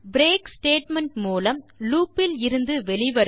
break statement மூலம் லூப்பில் இருந்து வெளி வருவது